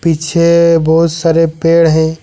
पीछे बहुत सारे पेड़ हैं।